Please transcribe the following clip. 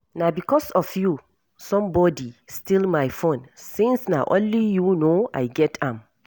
Na because of you somebodi steal my phone since na only you know I get am.